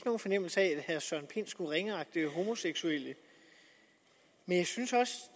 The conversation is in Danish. nogen fornemmelse af at herre søren pind skulle ringeagte homoseksuelle men jeg synes